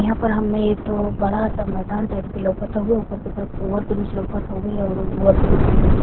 यहाँँ पर हमें एक ठो बड़ा सा मैंदान टाइप के लउकत हवे ऊपर के तरफ ओवर ब्रिज लउकत हवे और उ ओवर ब्रिज के नीचे --